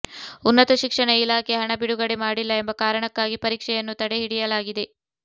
ಉನ್ನತ ಶಿಕ್ಷಣ ಇಲಾಖೆ ಹಣ ಬಿಡುಗಡೆ ಮಾಡಿಲ್ಲ ಎಂಬ ಕಾರಣಕ್ಕಾಗಿ ಪರೀಕ್ಷೆಯನ್ನು ತಡೆಹಿಡಿಯಲಾಗಿದೆ